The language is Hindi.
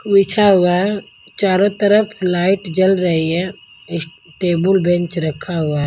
बिछा हुआ है चारों तरफ लाइट जल रही है इस टेबल बेंच रखा हुआ है।